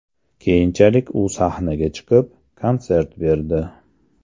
Keyinchalik u sahnaga chiqib, konsert berdi.